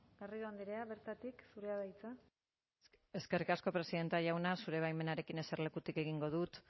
garrido andrea bertatik zurea da hitza eskerrik asko presidente andrea zure baimenarekin eserlekutik egingo dut